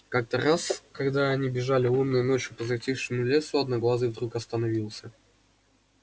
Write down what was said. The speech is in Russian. как то раз когда они бежали лунной ночью по затихшему лесу одноглазый вдруг остановился